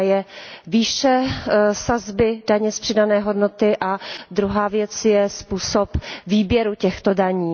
Jedna je výše sazby daně z přidané hodnoty a druhá věc je způsob výběru těchto daní.